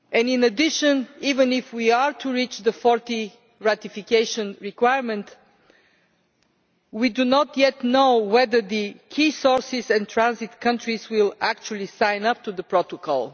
In addition, even if we are to reach the 40 ratification requirement, we do not yet know whether the key sources and transit countries will actually sign up to the Protocol.